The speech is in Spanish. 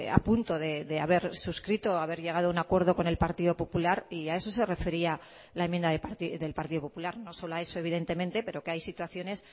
apunto de haber suscrito haber llegado a un acuerdo con el partido popular y a eso se refería la enmienda del partido popular no solo a eso evidentemente pero que hay situaciones